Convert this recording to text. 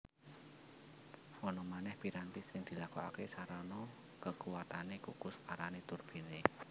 Ana manèh piranti sing dilakokaké sarana kekuwatané kukus arané turbine